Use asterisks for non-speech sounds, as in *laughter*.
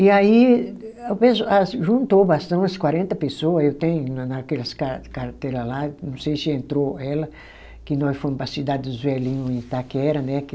E aí *unintelligible* juntou *unintelligible* umas quarenta pessoa, eu tenho na naquelas car carteira lá, não sei se entrou ela, que nós fomos para a cidade dos velhinhos em Itaquera, né?